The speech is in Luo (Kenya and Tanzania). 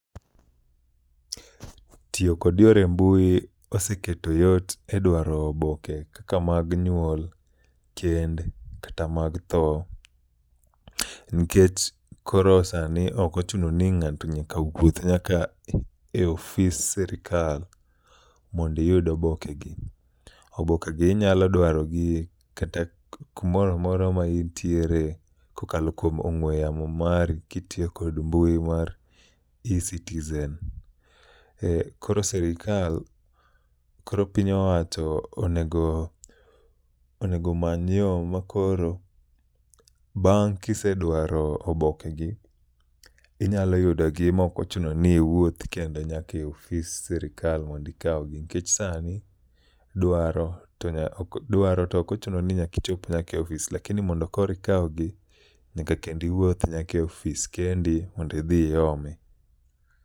Tiyo kod yore mbui oseketo yot e dwaro oboke kaka mag nyuol, kend kata mag tho. Nkech koro sani okochuno ni ng'ato nyaka wuoth nyaka e ofis sirikal mondiyud oboke gi. Oboke gi inyalo dwarogi kata kumoramora ma intiere kokalo kuom ong'we yamo mari, kitiyo kod mbui mari mar e-Citizen. Koro sirikal, koro piny owacho onego, onego omany yo ma koro, bang' kisedwaro oboke gi, inyalo yudo gi ma ok ochuno ni iwuoth kendo nyaka e ofis sirikal mondikawgi. Nikech sani dwaro, dwaro to okochuno ni nyakichop nyaka e ofis. Lakini mondo koro ikawgi, nyaka kendo iwuoth nyake ofis kendi mondi dhi iome.